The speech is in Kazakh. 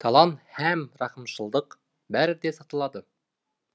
талант һәм рахымшылдық бәрі де сатылады